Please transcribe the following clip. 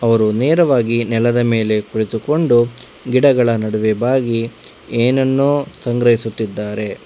ಅವರು ನೇರವಾಗಿ ನೆಲದ ಮೇಲೆ ಕುಳಿತುಕೊಂಡು ಗಿಡಗಳ ನಡುವೆ ಬಾಗಿ ಏನನ್ನೋ ಸಂಗ್ರಹಿಸುತ್ತಿದ್ದಾರೆ.